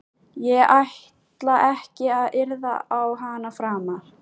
Ég ætla ekki að yrða á hana framar.